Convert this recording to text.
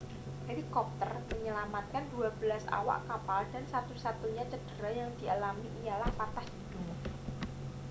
helikopter menyelamatkan dua belas awak kapal dan satu-satunya cedera yang dialami ialah patah hidung